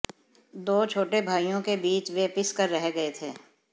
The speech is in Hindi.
दो छोटे भाइयों के बीच वह पिस कर रह गए थे